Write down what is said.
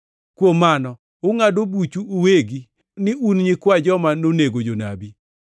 Kuom mano ungʼado buchu uwegi ni un nyikwa joma nonego jonabi.